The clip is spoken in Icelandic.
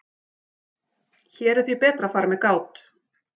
Hér er því betra að fara með gát.